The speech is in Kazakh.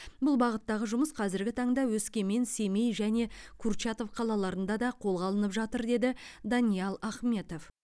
бұл бағыттағы жұмыс қазіргі таңда өскемен семей және курчатов қалаларында да қолға алынып жатыр деді даниал ахметов